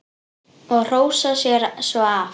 Og hrósa sér svo af.